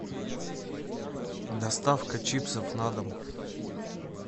доставка чипсов на дом